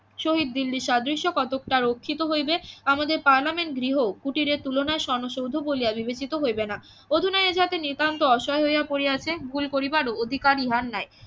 শহীদ দিল্লির সাদৃশ্য কতক তাহা রক্ষিত হইবে আমাদের পার্লামেন্ট গৃহ কুটিরের তুলনায় সনসৌধ বলিয়া বিবেচিত হইবে না অধুনা এ জাতের নিতান্ত অসহায় হইয়া পড়িয়াছে ভুল করিবারও অধিকার ইহার নাই